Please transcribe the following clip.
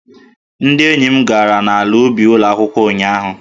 Ndị enyi m gara n'ala ubi ụlọ akwụkwọ ụnyahụ